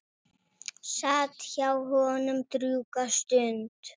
Sat hjá honum drjúga stund.